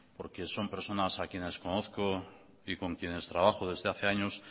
porque son personas a quienes conozco y con quienes trabajo desde hace años